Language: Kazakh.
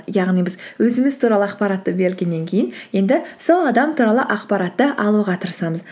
яғни біз өзіміз туралы ақпаратты бергеннен кейін енді сол адам туралы ақпаратты алуға тырысамыз